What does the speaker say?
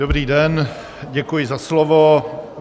Dobrý den, děkuji za slovo.